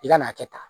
I ka n'a kɛ tan